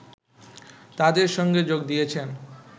তাদের সঙ্গে যোগ দিয়েছেন